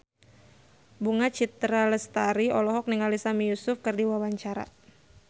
Bunga Citra Lestari olohok ningali Sami Yusuf keur diwawancara